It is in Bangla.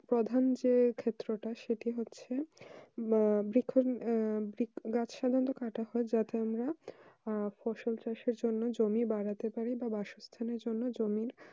প্রধান যে ক্ষেত্রটা সেটি হচ্ছে বা যখন আহ গাছ সাধারনত কাঁটা হয় জমি বাড়াতে পারে বা বাসস্থানে জন্য জমির